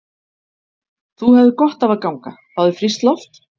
Þú hefðir gott af að ganga. fá þér frískt loft?